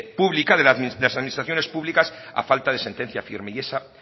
pública de las administraciones públicas a falta de sentencia firme y esa